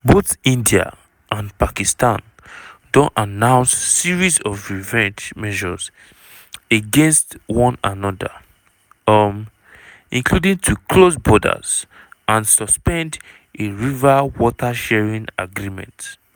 both india and pakistan don announce series of revenge measures against one anoda um including to close borders and suspend a river water sharing agreement.